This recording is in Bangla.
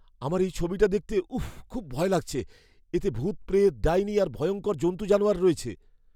আমার এই ছবিটা দেখতে উফ্ফ খুব ভয় লাগছে। এতে ভূতপ্রেত, ডাইনি আর ভয়ংকর জন্তু জানোয়ার রয়েছে।